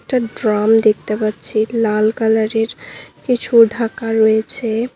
একটা ড্রাম দেখতে পাচ্ছি লাল কালারের কিছু ঢাকা রয়েছে।